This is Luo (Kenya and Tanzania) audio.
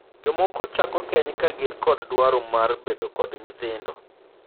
Jomoko chako keny ka gin kod dwaro mar bedo kod nyithindo.